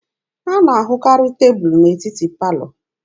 A na-ahụkarị tebụlụ n'etiti palọ